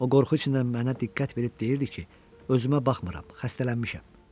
O qorxu içindən mənə diqqət verib deyirdi ki, özümə baxmıram, xəstələnmişəm.